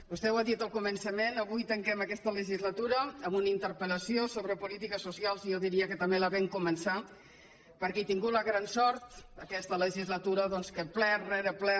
vostè ho ha dit al començament avui tanquem aquesta legislatura amb una interpel·lació sobre polítiques socials i jo diria que també la vam començar perquè he tingut la gran sort aquesta legislatura doncs que ple rere ple